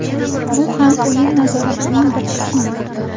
Bu ham o‘yin nazoratining bir qismi.